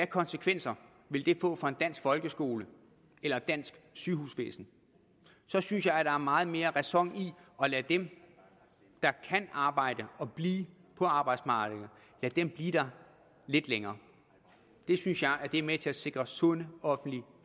konsekvenser ville det få for en dansk folkeskole eller et dansk sygehusvæsen så synes jeg at der er meget mere ræson i at lade dem der kan arbejde og blive på arbejdsmarkedet blive der lidt længere det synes jeg er med til at sikre sunde offentlige